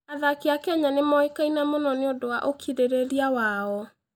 Athaki a Kenya nĩ moĩkaine mũno nĩ ũndũ wa ũkirĩrĩria wao.